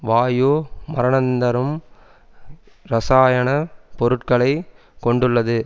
வாயு மரணந்தரும் இரசாயன பொருட்களை கொண்டுள்ளது